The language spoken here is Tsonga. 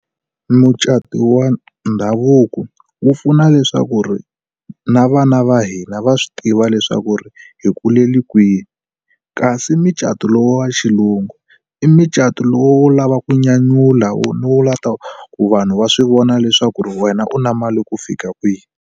Mucato wa ndhavuko wu pfuna leswaku ri na vana va hina va swi tiva leswaku ri hi kulele kwihi. Kasi micato lowu wa xilungu i micato lowu wo lava ku nyanyula wo lava ku ta ku vanhu va swi vona leswaku wena u na mali ku fika kwihi.